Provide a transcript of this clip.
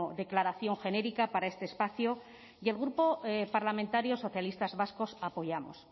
declaración genérica para este espacio y el grupo parlamentario socialistas vascos apoyamos